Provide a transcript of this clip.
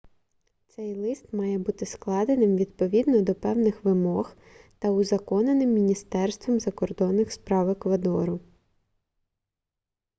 цей лист має бути складеним відповідно до певних вимог та узаконеним міністерством закордонних справ еквадору